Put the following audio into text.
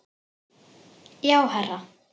Já, herra